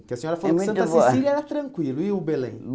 Porque a senhora falou que Santa Cecília era tranquila, e o Belém? é muito boa